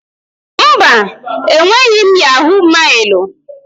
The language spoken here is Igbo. Mba, enweghị m yahọ̀g mailụ.